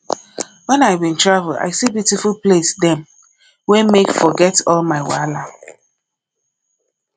wen i bin travel i see beautiful place dem wey make forget all my wahala